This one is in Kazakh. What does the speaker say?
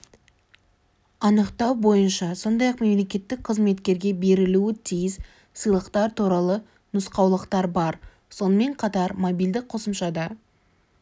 анықтау бойынша сондай-ақ мемлекеттік қызметкерге берілуі тиіс сыйлықтар туралы нұстаулықтар бар сонымен қатар мобильді қосымшада